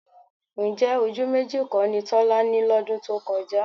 Ǹjẹ́ ojú méjì kọ́ ni Tọ́lá ní lọ́dún tó kọjá?